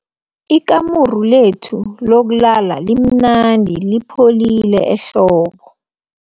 Ikamuru lethu lokulala limnandi lipholile ehlobo.